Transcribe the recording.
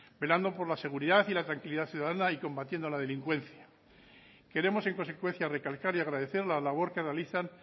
velando por la seguridad y la tranquilidad ciudadana y combatiendo la delincuencia queremos en consecuencia recalcar y agradecer la labor que realizan